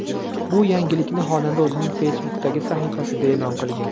Bu yangilikni xonanda o‘zining Facebook’dagi sahifasida e’lon qilgan .